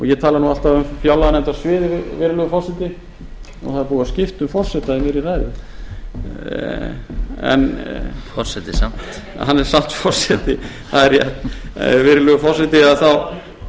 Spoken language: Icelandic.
ég tala alltaf um fjárlaganefndarsviðið virðulegur forseti nú það er búið að skipta um forseta í miðri ræðu forseti samt hann er samt forseti